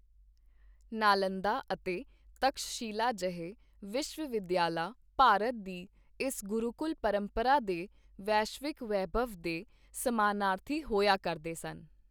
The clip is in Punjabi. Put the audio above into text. ਨਾਲੰਦਾ ਅਤੇ ਤਕਸ਼ਸ਼ਿਲਾ ਜਿਹੇ ਵਿਸ਼ਵ-ਵਿਦਿਆਲਾ ਭਾਰਤ ਦੀ ਇਸ ਗੁਰੂਕੁਲ ਪਰੰਪਰਾ ਦੇ ਵੈਸ਼ਵਿਕ ਵੈਭਵ ਦੇ ਸਮਾਨਾਰਥੀ ਹੋਇਆ ਕਰਦੇ ਸਨ।